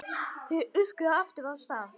Þau örkuðu aftur af stað.